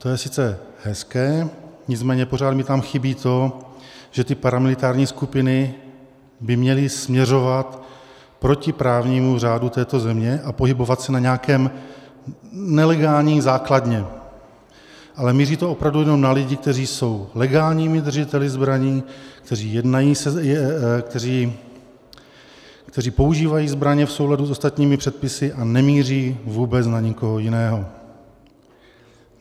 To je sice hezké, nicméně pořád mi tam chybí to, že ty paramilitární skupiny by měly směřovat proti právnímu řádu této země a pohybovat se na nějaké nelegální základně, ale míří to opravdu jenom na lidi, kteří jsou legálními držiteli zbraní, kteří používají zbraně v souladu s ostatními předpisy, a nemíří vůbec na nikoho jiného.